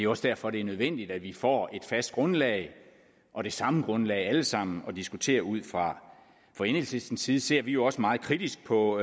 også derfor det er nødvendigt at vi får et fast grundlag og det samme grundlag alle sammen at diskutere ud fra fra enhedslistens side ser vi jo også meget kritisk på